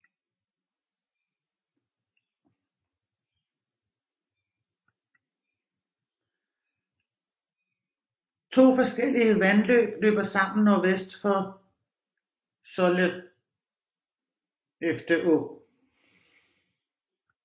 To forskellige vandløb løber sammen nordvest for Sollefteå